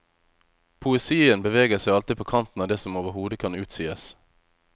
Poesien beveger seg alltid på kanten av det som overhodet kan utsies.